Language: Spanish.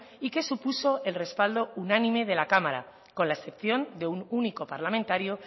y que supuso el respaldo unánime de la cámara con la excepción de un único parlamentario